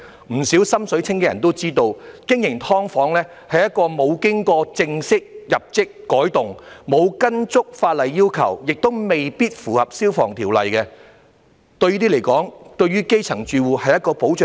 不少"心水清"的人也知道，經營"劏房"是沒有正式遞交圖則申請作出改動，沒有依足法例要求，亦未必符合《消防條例》的，這些對基層住戶是保障嗎？